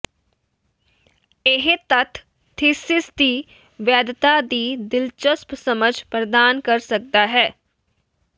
ਇਹ ਤੱਥ ਥੀਸਿਸ ਦੀ ਵੈਧਤਾ ਦੀ ਦਿਲਚਸਪ ਸਮਝ ਪ੍ਰਦਾਨ ਕਰ ਸਕਦਾ ਹੈ